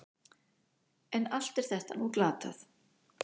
En allt er þetta nú glatað.